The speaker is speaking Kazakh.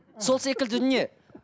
сол секілді дүние